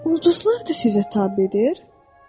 Ulduzlar da sizə tabedir?